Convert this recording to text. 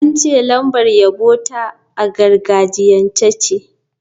An ce lambar yabo ta a gargajiyance ce.